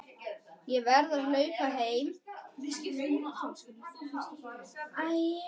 Ég verð að hlaupa heim.